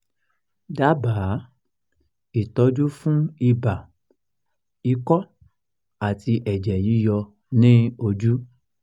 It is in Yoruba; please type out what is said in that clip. dábàá ìtọ́jú fún ibà ikọ́ àti ẹ̀jẹ̀ yíyọ ní ojú?